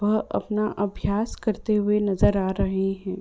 और अपना अभ्यास करते हुए नजर आ रहें हैं।